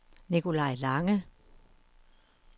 Nikolaj Lange